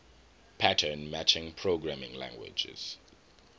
pattern matching programming languages